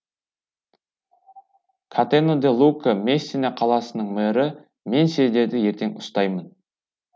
катено де лука мессина қаласының мэрі мен сендерді ертең ұстаймын